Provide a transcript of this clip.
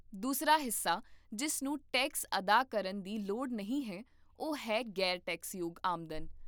ਦੂਸਰਾ ਹਿੱਸਾ ਜਿਸ ਨੂੰ ਟੈਕਸ ਅਦਾ ਕਰਨ ਦੀ ਲੋੜ ਨਹੀਂ ਹੈ ਉਹ ਹੈ ਗ਼ੈਰ ਟੈਕਸਯੋਗ ਆਮਦਨ